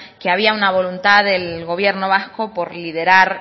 que había una voluntad del gobierno vasco por liderar